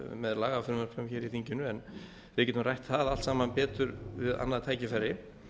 með lagafrumvörpum í þinginu en við getum rætt það allt saman betur við annað tækifæri